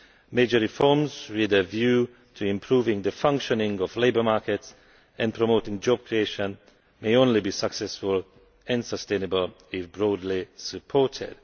Major reforms, with a view to improving the functioning of labour markets and promoting job creation, can only be successful and sustainable if broadly supported.